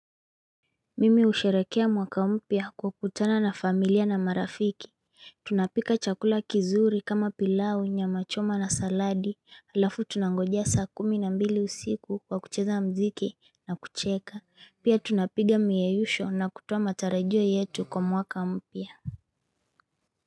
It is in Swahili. Mimi husherehekea mwaka mpya kwa kutana na familia na marafiki Tunapika chakula kizuri kama pilau nyama choma na saladi Halafu tunangoja saa kumi na mbili usiku kwa kucheza mziki na kucheka Pia tunapiga miyeyusho na kutoa matarajio yetu kwa mwaka mpya.